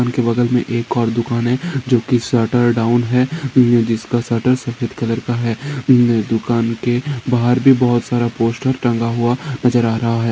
उनके बगल में एक और दुकान है जो कि शटर डाउन है जिसका शटर सफ़ेद कलर का है उनके दुकान के बहार भी बहुत सारा पोस्टर टंगा हुआ नजर आ रहा है।